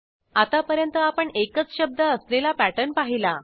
आत्तापर्यंत आपण एकच शब्द असलेला पॅटर्न पाहिला